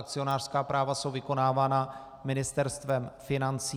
Akcionářská práva jsou vykonávána Ministerstvem financí.